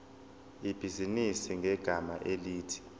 ibhizinisi ngegama elithi